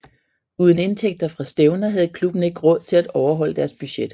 Uden indtægter fra stævner havde klubben ikke råd til at overholde deres budget